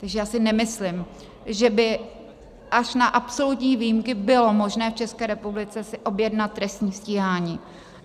Takže já si nemyslím, že by až na absolutní výjimky bylo možné v České republice si objednat trestní stíhání.